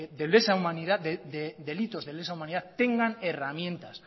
de lesa humanidad delitos de lesa humanidad tengan herramientas